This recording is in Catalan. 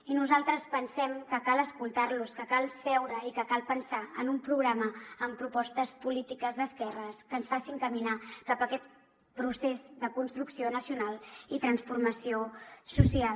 i nosaltres pensem que cal escoltar los que cal seure i que cal pensar en un programa amb propostes polítiques d’esquerres que ens facin caminar cap a aquest procés de construcció nacional i transformació social